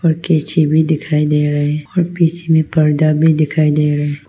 कैंची भी दिखाई दे रहा है और पीछे में पर्दा भी दिखाई दे रहा है।